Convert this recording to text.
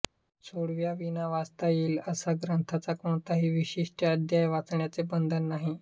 सोवळ्याविना वाचता येईल असा या ग्रंथाचा कोणताही विशिष्ट अध्याय वाचण्याचे बंधन नाही